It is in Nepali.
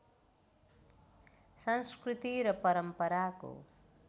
संस्कृति र परम्पराको